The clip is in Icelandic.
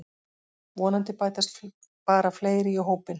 Vonandi bætast bara fleiri í hópinn